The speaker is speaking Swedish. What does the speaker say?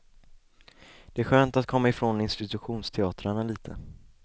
Det är skönt att komma ifrån institutionsteatrarna lite.